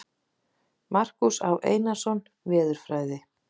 Markús Á. Einarsson, Veðurfræði.